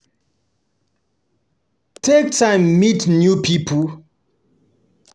Take time meet new pipo and grow your network well